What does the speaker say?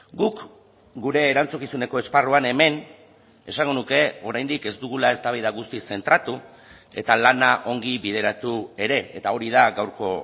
guk gure erantzukizuneko esparruan hemen esango nuke oraindik ez dugula eztabaida guztiz zentratu eta lana ongi bideratu ere eta hori da gaurko